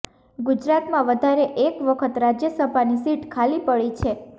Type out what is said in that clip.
ગુજરાતમા વધારે એક વખત રાજ્યસભાની સીટ ખાલી પડી છે